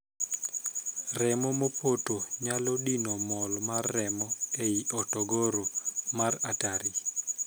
Remo mopoto nyalo dino mol mar remo ei horogoro mar 'artery'.